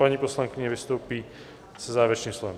Paní poslankyně vystoupí se závěrečným slovem.